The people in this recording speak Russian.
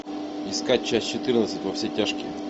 искать часть четырнадцать во все тяжкие